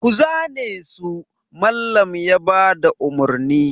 Ku zane su! Mallam ya ba da umarni.